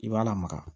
I b'a lamaga